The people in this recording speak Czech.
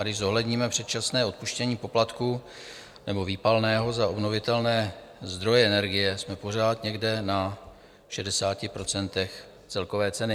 A když zohledníme předčasné odpuštění poplatků, nebo výpalného za obnovitelné zdroje energie, jsme pořád někde na 60 % celkové ceny.